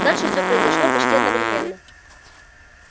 дальше всё произошло почти одновременно